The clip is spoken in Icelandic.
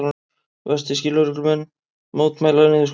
Vestfirskir lögreglumenn mótmæla niðurskurði